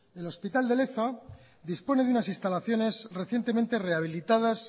el hospital de leza dispone de unas instalaciones recientemente rehabilitadas